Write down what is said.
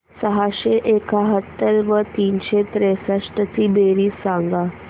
सहाशे एकाहत्तर व तीनशे त्रेसष्ट ची बेरीज सांगा